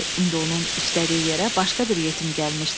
İndi onun işlədiyi yerə başqa bir yetim gəlmişdi.